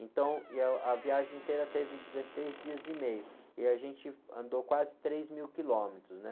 Então, e, ah, a viagem inteira teve dezesseis dias e meio, e a gente andou quase três mil quilômetros, né?